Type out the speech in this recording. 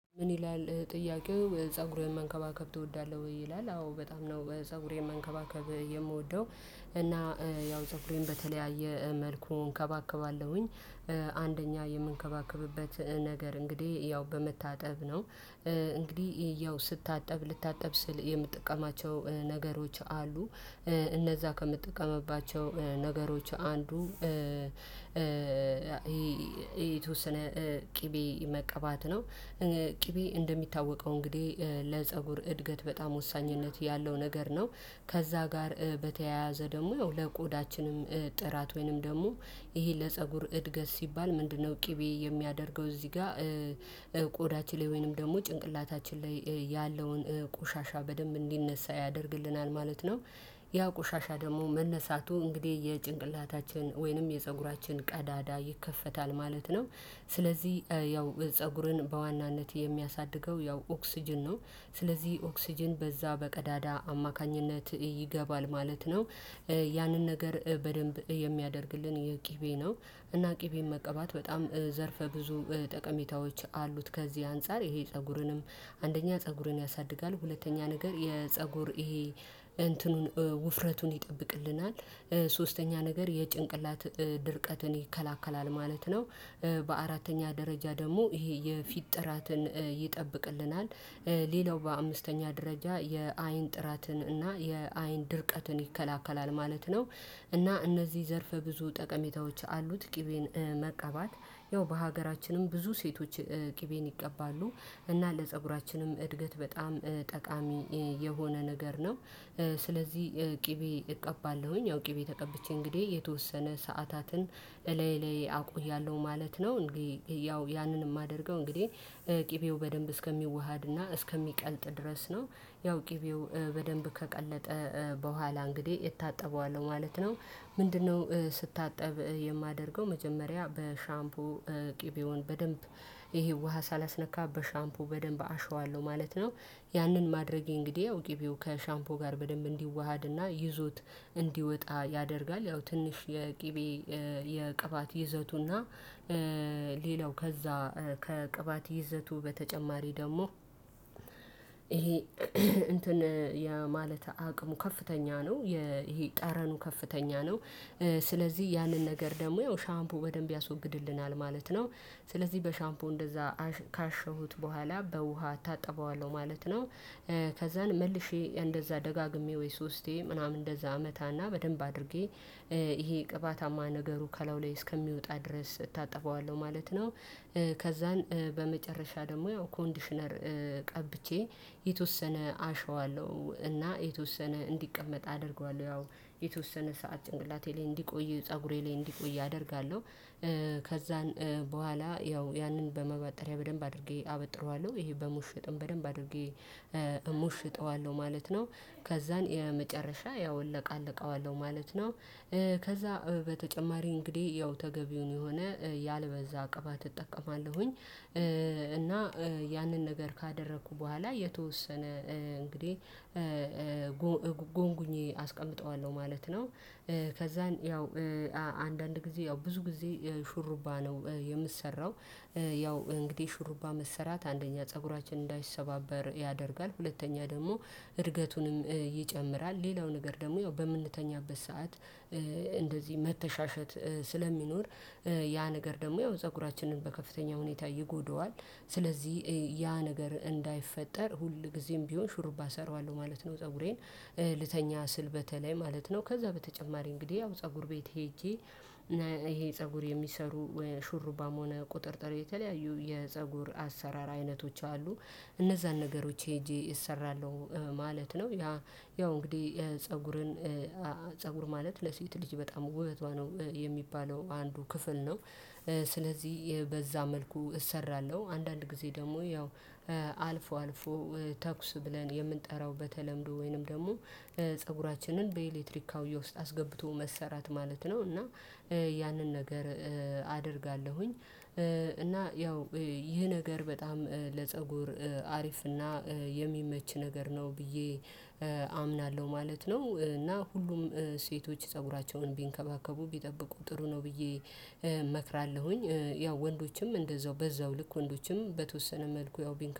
ምን ይላል ጥያቄው ፀጉሬን መንከባከብ ትወዳለህ ወይ ይላል? አዎ በጣም ነው ፀጉሬን መንከባከብ የምወደው እና ያው ፀጉሬን በተለያየ መልኩ እንከባከባለሁኝ። አንደኛ የምንከባከብበት ነገር እንግዲህ ያው በመታጠብ ነው። እንግዲህ ያው ስታጠብ ልታጠብ ስል የምጠቀማቸው ነገሮች አሉ። እነዛ ከምጠቀምባቸው ነገሮች አንዱ የተወሰነ ቅቤ መቀባት ነው። ቅቤ እንደሚታወቀው እንግዲህ ለፀጉር እድገት በጣም ወሳኝነት ያለው ነገር ነው። ከዛ ጋር በተያያዘ ደግሞ ለቆዳችንም ጥራት ወይንም ደግሞ ይሄ ለፀጉር እድገት ሲባል ምንድነው ቅቤ የሚያደርገው እዚህ ጋር? ቆዳችን ላይ ወይንም ደግሞ ጭንቅላታችን ላይ ያለውን ቆሻሻ በደንብ እንዲነሳ ያደርግልናል ማለት ነው። ያ ቆሻሻ ደግሞ መነሳቱ እንግዲህ የጭንቅላታችን ወይንም የፀጉራችን ቀዳዳ ይከፈታል ማለት ነው። ስለዚህ ያው ፀጉርን በዋናነት የሚያሳድገው ያው ኦክስጅን ነው። ስለዚህ ኦክስጅን በዛ በቀዳዳ አማካኝነት ይገባል ማለት ነው። ያንን ነገር በደንብ የሚያደርግልን የቅቤ ነው። እና ቅቤን መቀባት በጣም ዘርፈ ብዙ ጠቀሜታዎች አሉት። ከዚህ አንፃር ይሄ ፀጉርንም አንደኛ ፀጉርን ያሳድጋል ሁለተኛ ነገር የፀጉር ይሄ እንትኑን ውፍረቱን ይጠብቅልናል። ሶስተኛ ነገር የጭንቅላት ድርቀትን ይከለከላል ማለት ነው። በአራተኛ ደረጃ ደግሞ ይሄ የፊት ጥራትን ይጠብቅልናል። ሌላው በአምስተኛ ደረጃ የአይን ጥራትን እና የአይን ድርቀትን ይከለክላል ማለት ነው። እና እነዚህ ዘርፍ ብዙ ጠቀሜታዎች አሉት። ቅቤን መቀባት ያው በሀገራችንም ብዙ ሴቶች ቅቤን ይቀባሉ እና ለፀጉራችንም እድገት በጣም ጠቃሚ የሆነ ነገር ነው። ስለዚህ ቅቤ እቀባለሁኝ ያው ቅቤ ተቀብቼ እንግዲህ የተወሰነ ሰዓታትን ላይ ላይ አድርጊያለው ማለት ነው። እንግዲህ ያው ያንን የማደርገው እንግዲህ ቅቤው በደንብ እስከሚዋሃድና እስከሚቀልጥ ድረስ ነው። ያው ቅቤው በደንብ ከቀለጠ በኋላ እንግዲህ እታጠበዋለው ማለት ነው። ምንድነው? ስታጠብ የማደርገው መጀመሪያ በሻምፖ ቅቤውን በደንብ ይሄ ውሃ ሳላስነካ በሻምፖ በደንብ አሸዋለሁ ማለት ነው። ያንን ማድረጌ እንግዲህ ቅቤው ከሻምፖ ጋር በደንብ እንዲዋሃድና ይዞት እንዲወጣ ያደርጋል። ያው ትንሽ የቅቤ የቅባት ይዘቱና ሌላው ከዛ ከቅባት ይዘቱ በተጨማሪ ደግሞ ይሄ እንትን የማለት አቅሙ ከፍተኛ ነው። ይሄ ጠረኑ ከፍተኛ ነው። ስለዚህ ያንን ነገር ደግሞ ያው ሻምፖ በደንብ ያስወግድልናል ማለት ነው። ስለዚህ በሻምፖ እንደዛ ካሸሁት በኋላ በውሃ እታጠበዋለሁ ማለት ነው። ከዛን መልሼ እንደዛ ደጋግሜ ወይም ሶስቴ ምናምን እንደዛ አመታና በደንብ አድርጌ ይሄ ቅባታማ ነገሩ ከላው ላይ እስከሚወጣ ድረስ እታጠበዋለው ማለት ነው። ከዛን በመጨረሻ ደግሞ ኮንዲሽነር ቀብቼ የተወሰነ አሸዋለሁ እና የተወሰነ እንዲቀመጥ አደርገዋለሁ ያው የተወሰነ ሰዓት ጭንቅላቴ ላይ እንዲቆይ ፀጉሬ ላይ እንዲቆይ አደርጋለሁ። ከዛን በኋላ ያው ያንን በመባጠሪያ በደንብ አድርጌ አበጥረዋለሁ ይሄ በሙሽጥም በደንብ አድርጌ እሞሽጠዋለሁ ማለት ነው። ከዛን የመጨረሻ ያው እለቃለቀዋለሁ ማለት ነው። ከዛ በተጨማሪ እንግዲህ ያው ተገቢውን የሆነ ያልበዛ ቅባት እጠቀማለሁኝ። እና ያንን ነገር ካደረኩ በኋላ የተወሰነ እንግዲህ ጎንጉኜ አስቀምጠዋለሁ ማለት ነው። ከዛን ያው አንዳንድ ጊዜ ያው ብዙ ጊዜ ሹሩባ ነው የምሰራው። ያው እንግዲህ ሽሩባ መሰራት አንደኛ ፀጉራችን እንዳይሰባበር ያደርጋል። ሁለተኛ ደግሞ እርገቱንም ይጨምራል። ሌላው ነገር ደግሞ ያው በምንተኛበት ሰዓት እንደዚህ መተሻሸት ስለሚኖር ያ ነገር ደግሞ ያው ፀጉራችንን በከፍተኛ ሁኔታ ይጎደዋል። ስለዚህ ያ ነገር እንዳይፈጠር ሁልጊዜም ቢሆን ሹርባ እሰራዋለሁ ማለት ነው። ፀጉሬን ልተኛ ስል በተለይ ማለት ነው ከዛ በተጨማሪ እንግዲህ ያው ፀጉር ቤት ሄጄ። ይሄ ፀጉር የሚሰሩ ሹሩባም ሆነ ቁጥጥር የተለያዩ የፀጉር አሰራር አይነቶች አሉ። እነዛን ነገሮች ሄጄ እሰራለሁ ማለት ነው። ያ ያው እንግዲህ ፀጉርን ፀጉር ማለት ለሴት ልጅ በጣም ውበቷ ነው። የሚባለው አንዱ ክፍል ነው። ስለዚህ በዛ መልኩ እሰራለሁ አንዳንድ ጊዜ ደግሞ ያው አልፎ አልፎ ተኩስ ብለን የምንጠራው በተለምዶ ወይንም ደግሞ ፀጉራችንን በኤሌክትሪክ አብዮ ውስጥ አስገብቶ መሰራት ማለት ነው እና ያንን ነገር አደርጋለሁኝ። እና ያው ይህ ነገር በጣም ለፀጉር አሪፍና የሚመች ነገር ነው ብዬ ማለት ነው። እና ሁሉም ሴቶች ፀጉራቸውን ቢንከባከቡ ቢጠብቁ ጥሩ ነው ብዬ እመክራለሁኝ። ያው ወንዶችም እንደዛው በዛው ልክ ወንዶችም በተወሰነ መልኩ ያው ቢንካም